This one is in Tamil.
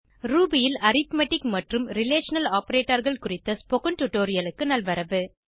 ரூபி ல் அரித்மெட்டிக் மற்றும் ரிலேஷனல் Operatorகள் குறித்த ஸ்போகன் டுடோரியலுக்கு நல்வரவு